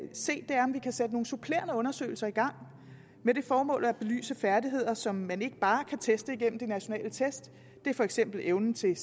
se er om vi kan sætte nogle supplerende undersøgelser i gang med det formål at belyse færdigheder som man ikke bare kan teste igennem de nationale test det er for eksempel evnen til